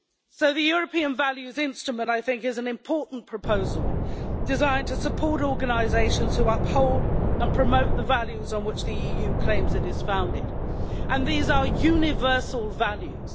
So the European Values Instrument I think is an important proposal, designed to support organisations who uphold and promote the values on which the EU claims it is founded and these are universal values.